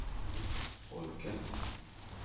folket